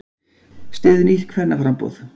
Styður nýtt kvennaframboð